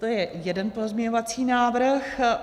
To je jeden pozměňovací návrh.